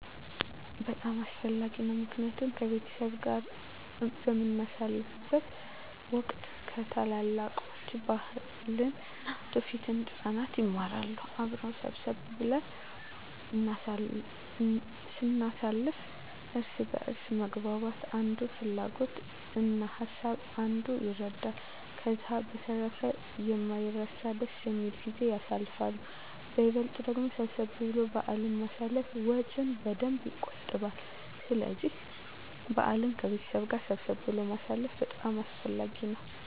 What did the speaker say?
በጣም አስፈላጊ ነው ምክንያቱም ከቤተሰብ ጋር በምናሳልፍበት ወቅት ከታላላቆች ባህልን እና ትውፊትን ህፃናት ይማራሉ። አብረን ሰብሰብ ብለን ስናሳልፍ እርስ በእርስ መግባባት የአንዱን ፍላጎት እና ሀሳብ አንዱ ይረዳል። ከዛ በተረፈ የማይረሳ ደስ የሚል ጊዜን ያሳልፋሉ በይበልጥ ደግሞ ሰብሰብ ብሎ በአልን ማሳለፍ ወጭን በደንብ የቆጥባል ስለዚህ በአልን ከቤተሰብ ጋር ሰብሰብ ብሎ ማሳለፍ በጣም አስፈላጊ ነው።